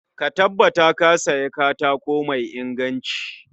Ka tabbata Ka Siya katako mai inganci